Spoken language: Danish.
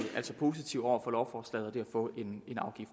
altså positive over for lovforslaget at få en